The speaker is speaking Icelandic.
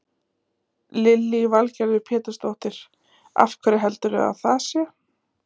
Lillý Valgerður Pétursdóttir: Af hverju heldurðu að það sé?